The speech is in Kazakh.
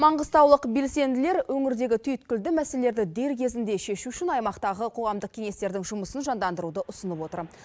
маңғыстаулық белсенділер өңірдегі түйткілді мәселелерді дер кезінде шешу үшін аймақтағы қоғамдық кеңестердің жұмысын жандандыруды ұсынып отыр